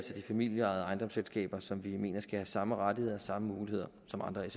de familieejede ejendomsselskaber som vi mener skal have samme rettigheder og samme muligheder som andre